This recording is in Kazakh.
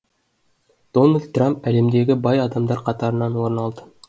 дональд трамп әлемдегі бай адамдар қатарынан орын алады